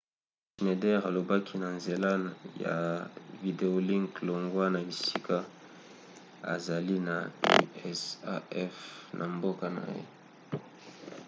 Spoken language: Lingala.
schneider alobaki na nzela ya videolink longwa na esika azali na usaf na mboka na ye